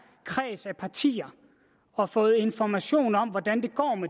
kreds af partier og fået information om hvordan